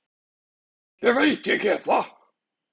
Ég veit ég get það.